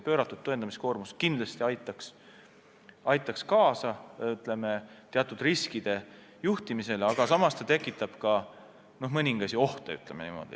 Pööratud tõendamiskoormus kindlasti aitaks kaasa teatud riskide juhtimisele, aga samas tekitab ka mõningaid ohte, ütleme niimoodi.